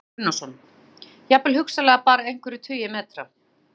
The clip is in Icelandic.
Kristján Már Unnarsson: Jafnvel hugsanlega bara einhverjir tugir metra?